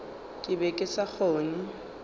ke be ke sa kgone